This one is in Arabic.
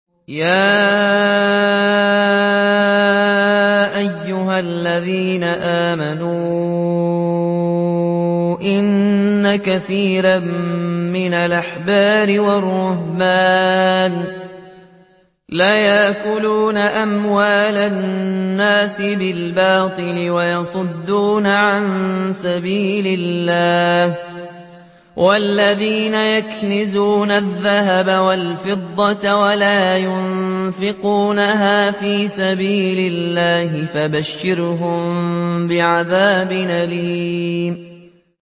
۞ يَا أَيُّهَا الَّذِينَ آمَنُوا إِنَّ كَثِيرًا مِّنَ الْأَحْبَارِ وَالرُّهْبَانِ لَيَأْكُلُونَ أَمْوَالَ النَّاسِ بِالْبَاطِلِ وَيَصُدُّونَ عَن سَبِيلِ اللَّهِ ۗ وَالَّذِينَ يَكْنِزُونَ الذَّهَبَ وَالْفِضَّةَ وَلَا يُنفِقُونَهَا فِي سَبِيلِ اللَّهِ فَبَشِّرْهُم بِعَذَابٍ أَلِيمٍ